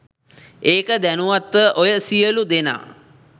ඒක දැනුවත්ව ඔය සියළු දෙනා